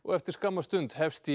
eftir skamma stund hefst